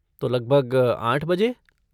तो, लगभग आठ बजे?